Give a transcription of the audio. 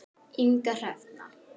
Inga Hrefna.